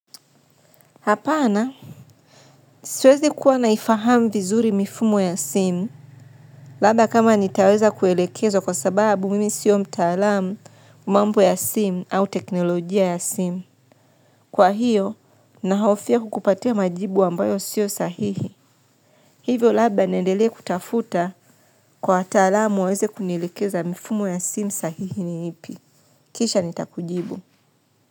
Hapana, siwezi kuwa naifahamu vizuri mifumo ya simu, labda kama nitaweza kuelekeza kwa sababu mimi sio mtaalamu, mambo ya simu au teknolojia ya simu. Kwa hiyo, nahofia kukupatia majibu ambayo sio sahihi. Hivyo labda niendele kutafuta kwa taalamu waweze kunilekeza mifumo ya simu sahihi ni ipi. Kisha nitakujibu.